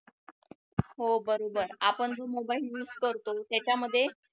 हो बरोबर आपण जो mobile use करतो त्याच्यामध्ये